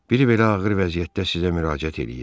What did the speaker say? Biri belə ağır vəziyyətdə sizə müraciət eləyir.